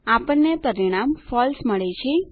આપણને પરિણામ ફળસે મળે છે